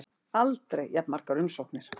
Aldrei jafn margar umsóknir